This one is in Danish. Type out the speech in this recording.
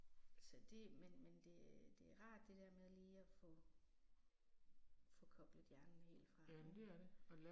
Så det men men det det er rart det der med lige at få få koblet hjernen helt fra ik